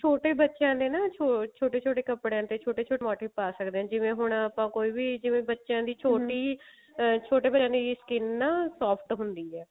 ਛੋਟੇ ਬੱਚਿਆਂ ਦੇ ਨਾ ਛੋਟੇ ਛੋਟੇ ਕੱਪੜਿਆ ਤੇ ਛੋਟੇ ਛੋਟੇ motive ਪਾ ਸਕਦੇ ਹਾਂ ਆਪਾਂ ਜਿਵੇਂ ਹੁਣ ਆਪਾਂ ਕੋਈ ਵੀ ਜਿਵੇ ਬੱਚਿਆਂ ਦੀ ਅਹ ਛੋਟੇ ਬੱਚਿਆਂ ਦੀ skin ਨਾ soft ਹੁੰਦੀ ਹੈ